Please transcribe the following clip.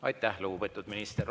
Aitäh, lugupeetud minister!